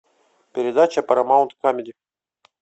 передача парамаунт камеди